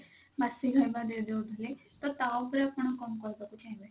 ବାସୀ ଖାଇବା ଦେଇଦଉଥିଲେ ତ ତା ଉପରେ ଆପଣ କଣ କହିବାକୁ ଚାହିଁବେ?